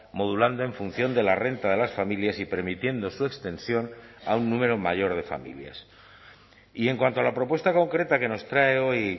modulando en función de la renta de las familias y permitiendo su extensión a un número mayor de familias y en cuanto a la propuesta concreta que nos trae hoy